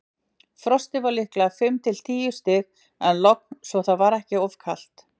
Frostið var líklega fimm til tíu stig en logn svo það var ekki of kalt.